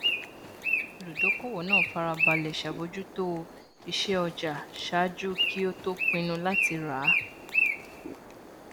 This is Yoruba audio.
olùdókòwò náà farabalẹ ṣàbójútó ìṣe ọjà ṣáájú kí ó tó pinnu láti rà á